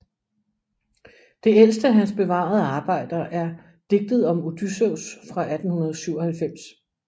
Det ældste af hans bevarede arbejder er Digtet om Odysseus fra 1897